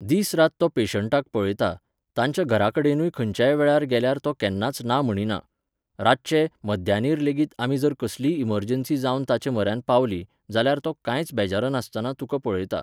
दीस रात तो पेशंटाक पळयता, तांच्या घराकडेनूय खंयच्याय वेळार गेल्यार तो केन्नाच ना म्हणिना. रातचे, मध्यानीरलेगीत आमी जर कसलीय इमर्जन्सी जावन ताचे म्हऱ्यांत पावलीं, जाल्यार तो कांयच बेजारनासतना तुका पळयता.